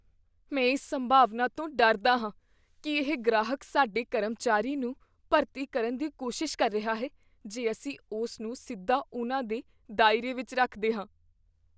ਮੈਂ ਇਸ ਸੰਭਾਵਨਾ ਤੋਂ ਡਰਦਾ ਹਾਂ ਕੀ ਇਹ ਗ੍ਰਾਹਕ ਸਾਡੇ ਕਰਮਚਾਰੀ ਨੂੰ ਭਰਤੀ ਕਰਨ ਦੀ ਕੋਸ਼ਿਸ਼ ਕਰ ਰਿਹਾ ਹੈ ਜੇ ਅਸੀਂ ਉਸ ਨੂੰ ਸਿੱਧਾ ਉਨ੍ਹਾਂ ਦੇ ਦਾਇਰੇ ਵਿੱਚ ਰੱਖਦੇ ਹਾਂ।